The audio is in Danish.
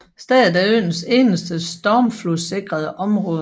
Stedet er øens eneste stormflodssikre område